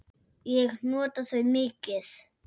Ég nota þau mikið.